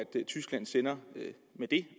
tyskland sender med det